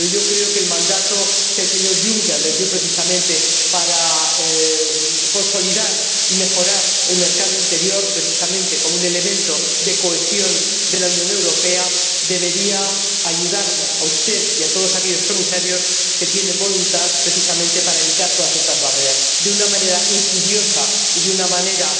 Pero yo creo que el mandato que el señor Juncker les dio, precisamente para consolidar y mejorar el mercado interior como un elemento de cohesión de la Unión Europea, debería ayudarle a usted y a todos aquellos Comisarios que tienen voluntad a evitar todas estas barreras. De una manera insidiosa y de una manera